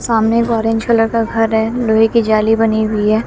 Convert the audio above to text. सामने orange colour का घर है लोहे की जाली बनी हुई है।